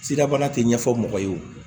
Sidabana tɛ ɲɛfɔ mɔgɔ ye wo